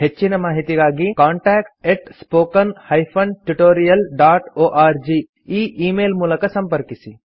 ಹೆಚ್ಚಿನ ಮಾಹಿತಿಗಾಗಿ contact spoken tutorialorg ಈ ಈ ಮೇಲ್ ಮೂಲಕ ಸಂಪರ್ಕಿಸಿ